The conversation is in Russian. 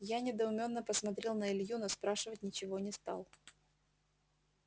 я недоумённо посмотрел на илью но спрашивать ничего не стал